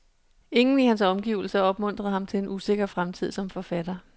Ingen i hans omgivelser opmuntrede ham til en usikker fremtid som forfatter.